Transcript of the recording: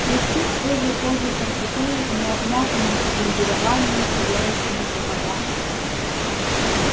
хрустит свежей кожей портупеи необмятым обмундированием сияющими сапогами